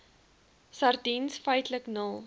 sardiens feitlik nul